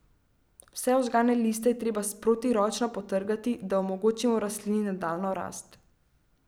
Vse ožgane liste je treba sproti ročno potrgati, da omogočimo rastlini nadaljnjo rast.